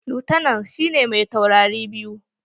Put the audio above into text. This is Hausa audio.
Lutanan shi ne me taurari biyu.